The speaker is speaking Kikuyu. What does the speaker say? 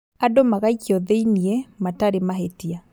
Andũ magaikio thĩini matarĩ mahĩtia